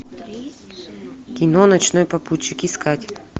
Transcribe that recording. кино ночной попутчик искать